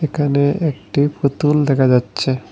এখানে একটি পুতুল দেখা যাচ্ছে।